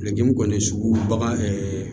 kɔni sugu bagan